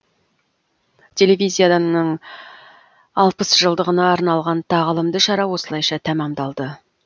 телевизияның алпыс жылдығына арналған тағылымды шара осылайша тәмамдалды